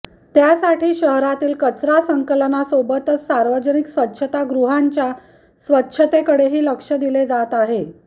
त्यासाठी शहरातील कचरा संकलनासोबतच सार्वजनिक स्वच्छतागृहांच्या स्वच्छतेकडेही लक्ष दिले जात आहे